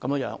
的名稱。